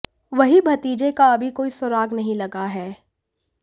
वहीं भतीजे का अभी कोई सुराग नहीं लगा है